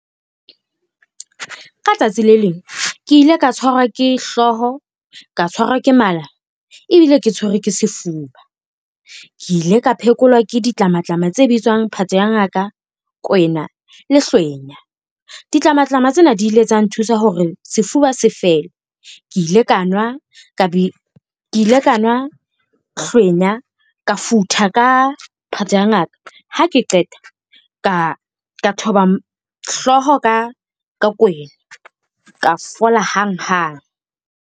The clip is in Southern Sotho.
Ka tsatsi le leng ke ile ka tshwarwa ke hlooho, ka tshwarwa ke mala ebile ke tshwerwe ke sefuba. Ke ile ka phekolwa ke ditlamatlama tse bitswang phate ya ngaka, kwena le hlwenya. Ditlamatlama tsena di ile tsa nthusa hore sefuba se fele. Ke ile ka nwa hlwenya ka futha ka phate ya ngaka, ha ke qeta ka thoba hlooho ka kwena ka fola hang hang.